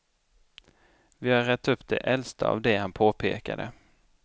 Vi har rett upp de äldsta av det han påpekade.